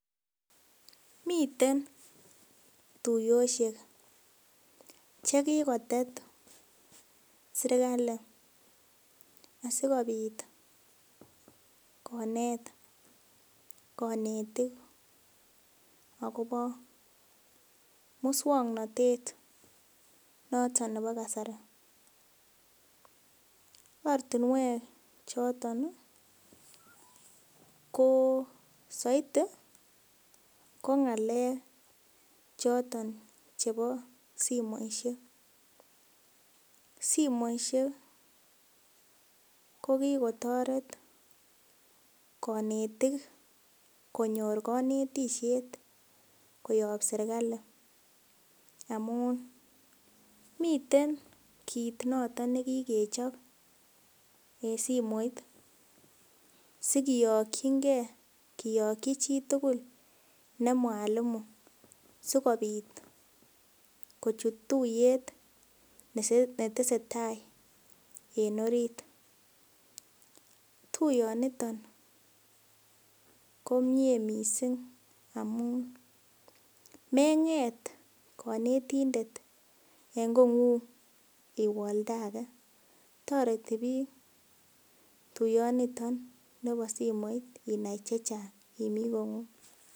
Miten tuiyosiek che kigotet serkalit asikobit konet konetik agobo muswoknatet noton nebo kasari. Ortinwek choton ko soiti ko ng'alek choton chebo simoishek, simoishek ko kigotoret konetik konyor konetishet koyob serkalit amun miten kiit noton ne kigechob en simoit sikiyokinge, kiyoki chitugul ne mwalimu sikobit kochut tuiyet ne tesetai en orit. Tuiyonito komie mising amun meng'et konetindet en kong'ung iwe oldage. Toreti biik tuiyonito bo simoit inai chechang imi kong'ung.